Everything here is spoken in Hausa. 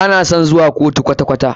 Ba na son zuwa kotu kwata kwata.